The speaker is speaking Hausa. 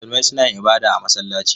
Musulmai suna yin ibada a masallaci.